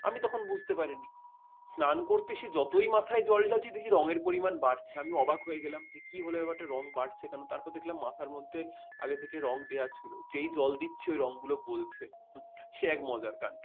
আমি তখন বুঝতে পারিনি স্নান করতে এসে যতই মাথায় জল ঢালছি রঙের পরিমাণ বাড়ছে আমি অবাক হয়ে গেলাম কি হলো ব্যাপারটা রঙ বাড়ছে কোন তারপর দেখলাম মাথার মধ্যে আগে থেকে রঙ দেওয়া ছিল। যেই জল দিচ্ছি ওই রঙ গুলো গলছে। সে এক মজার কান্ড